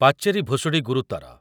ପାଚେରି ଭୁଷୁଡ଼ି ଗୁରୁତର